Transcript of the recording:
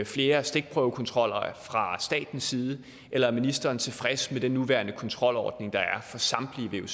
flere stikprøvekontroller fra statens side eller er ministeren tilfreds med den nuværende kontrolordning der er for samtlige